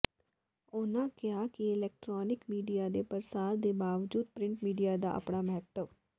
ਉਨ੍ਹਾਂ ਕਿਹਾ ਕਿ ਇਲੈਕਟ੍ਰਾਨਿਕ ਮੀਡੀਆ ਦੇ ਪ੍ਰਸਾਰ ਦੇ ਬਾਵਜੂਦ ਪ੍ਰਿੰਟ ਮੀਡੀਆ ਦਾ ਆਪਣਾ ਮਹੱਤਵ